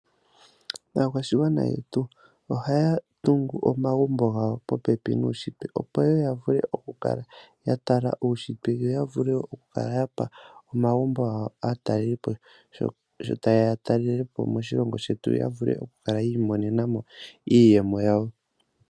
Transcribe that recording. Aakwashigwana yetu ohaya tungu omagumbo gawo popepi nuushitwe, opo ya vule okukala ya tala uushitwe yo ya vule okukala ya pa aatalelipo omagumbo gawo sho taye ya okutalela po moshilongo shetu yo ya vule okukala yi imonena mo iiyemo yawo.